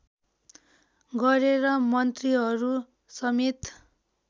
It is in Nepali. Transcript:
गरेर मन्त्रीहरू समेत